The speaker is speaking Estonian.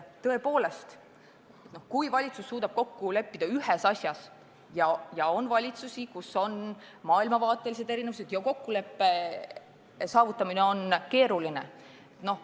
On valitsusi, kus on tegu maailmavaateliste lahkarvamustega ja kokkulepete saavutamine on keeruline.